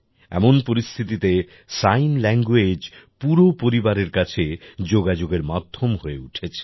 এমন পরিস্থিতিতে sign language পুরো পরিবারের কাছে যোগাযোগের মাধ্যম হয়ে উঠেছে